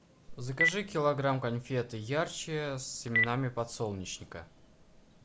закажи килограмм конфет ярче с семенами подсолнечника